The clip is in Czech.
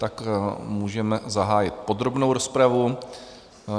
Tak můžeme zahájit podrobnou rozpravu.